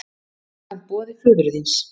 Samkvæmt boði föður þíns!